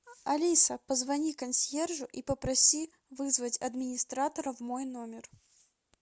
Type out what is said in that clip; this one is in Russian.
алиса позвони консьержу и попроси вызвать администратора в мой номер